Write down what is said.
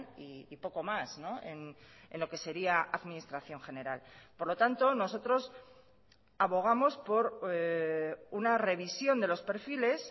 y poco más en lo que sería administración general por lo tanto nosotros abogamos por una revisión de los perfiles